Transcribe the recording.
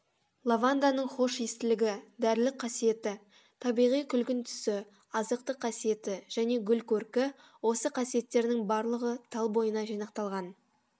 лаванданың хош иістілігі дәрілік қасиеті табиғи күлгін түсі азықтық қасиеті және гүл көркі осы қасиеттерінің барлығы тал бойына жинақталған